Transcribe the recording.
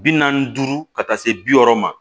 Bi naani ni duuru ka taa se bi wɔɔrɔ ma